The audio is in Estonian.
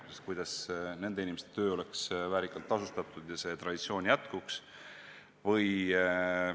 On mõeldud, kuidas nende inimeste töö oleks vääriliselt tasustatud ja see traditsioon jätkuks.